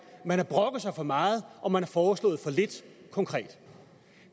man har brokket sig for meget og man har foreslået for lidt konkret